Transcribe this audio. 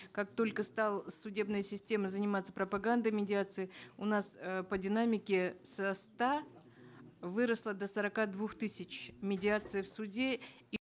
как только стала судебная система заниматься пропагандой медиации у нас э по динамике со ста выросло до сорока двух тысяч медиаций в суде и